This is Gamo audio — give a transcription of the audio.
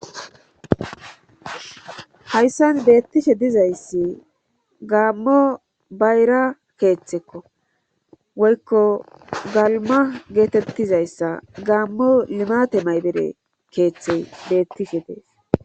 Hayssan beettishe dizayssi gaammo bayra keeththekko woykko galma geetettizayssa gaammo limate maybere keeththe beettife dees